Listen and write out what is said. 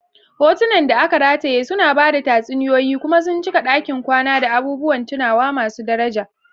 Hotunan da aka rataye suna ba da tatsuniyoyi kuma sun cika ɗakin kwana da abubuwan tunawa masu daraja.